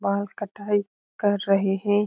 बाल कटाई कर रहे हैं।